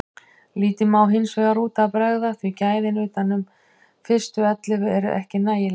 Lítið má hinsvegar út af bregða því gæðin utan fyrstu ellefu eru ekki nægileg.